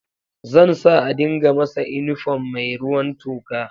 Zan sa a dinka masa inifom mai ruwan toka